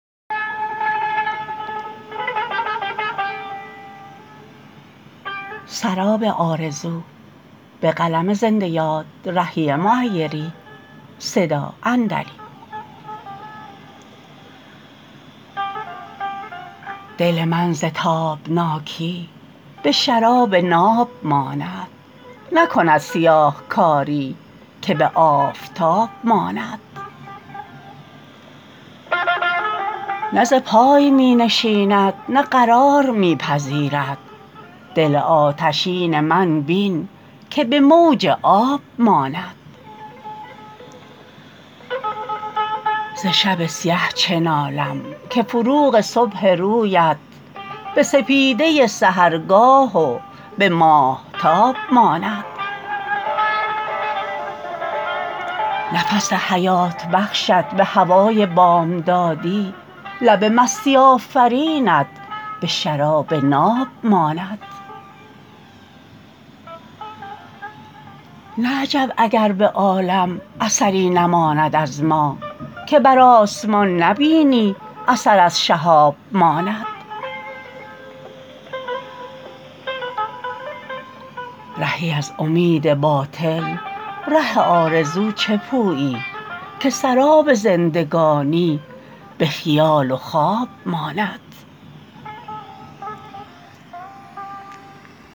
دل من ز تابناکی به شراب ناب ماند نکند سیاهکاری که به آفتاب ماند نه ز پای می نشیند نه قرار می پذیرد دل آتشین من بین که به موج آب ماند ز شب سیه چه نالم که فروغ صبح رویت به سپیده سحرگاه و به ماهتاب ماند نفس حیات بخشت به هوای بامدادی لب مستی آفرینت به شراب ناب ماند نه عجب اگر به عالم اثری نماند از ما که بر آسمان نبینی اثر از شهاب ماند رهی از امید باطل ره آرزو چه پویی که سراب زندگانی به خیال و خواب ماند